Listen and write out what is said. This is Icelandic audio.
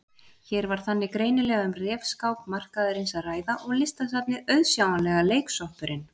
Hér var þannig greinilega um refskák markaðarins að ræða og Listasafnið auðsjáanlega leiksoppurinn.